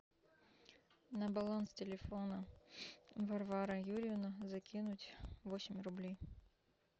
на баланс телефона варвара юрьевна закинуть восемь рублей